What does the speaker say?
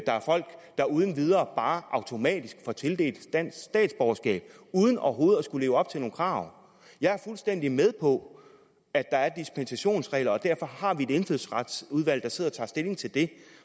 er folk der uden videre automatisk får tildelt dansk statsborgerskab uden overhovedet at skulle leve op til nogle krav jeg er fuldstændig med på at der er dispensationsregler og derfor har vi et indfødsretsudvalg der sidder og tager stilling til det